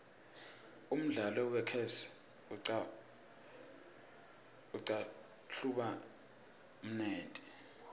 umdlalo wechess uqahlupha kodruh umnendti